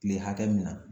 Tile hakɛ min na